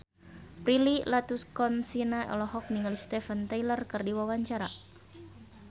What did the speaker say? Prilly Latuconsina olohok ningali Steven Tyler keur diwawancara